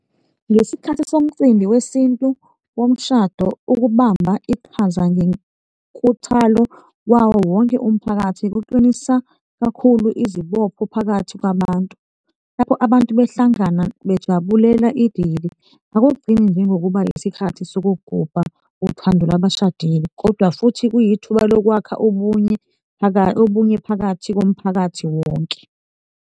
Ngesikhathi somcimbi wesintu womshado, ukubamba iqhaza ngenkuthalo wawowonke umphakathi kuqinisa kakhulu izibopho phakathi kwabantu lapho abantu behlangana bejabulela idili. Akugcini njengokuba yisikhathi sokugubha uthando lwabashadile kodwa futhi kuyithuba lokwakha ubunye phakathi komphakathi wonke.